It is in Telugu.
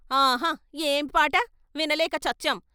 ఆహా ఏమి పాట వినలేక చచ్చాం.